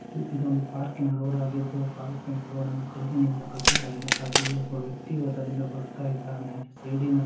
ಇದು ಒಂದು ಪಾರ್ಕಿನ ರೋಡ್‌ ಆಗಿದ್ದು ಪಾರ್ಕಿನ ರೋಡನ್ನು ಕಲ್ಲಿನಿಂದ ಕಟ್ಟಿದಾಗಿದೆ ಹಾಗೇಯೇ ಒಬ್ಬ ವ್ಯಕ್ತಿಯು ಅದರಿಂದ ಬರುತ್ತಿದ್ದಾನೆ ಹಾಗೆ ಸೈಡ್‌ನಲ್ಲಿ .